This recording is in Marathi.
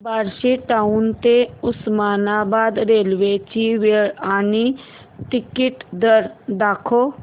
बार्शी टाऊन ते उस्मानाबाद रेल्वे ची वेळ आणि तिकीट दर दाखव